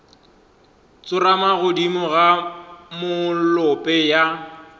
tsorama godimo ga molope ya